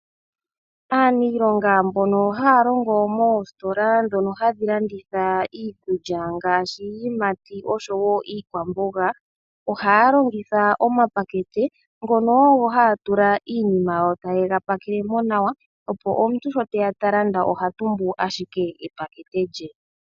Aaniilonga mbono haa longo moostola ndhono hadhi landitha iikulya ngaashi iiyimati osho wo iikwamboga, ohaa longitha omapakete ngono ogo haa tula iinima yo taye ga pakele mo nawa opo omuntu sho teya ta landa oha tumbu ashike epakete lye.